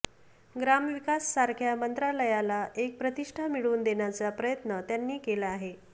ग्रामविकास सारख्या मंत्रालयाला एक प्रतिष्ठा मिळवून देण्याचा प्रयत्न त्यांनी केला आहे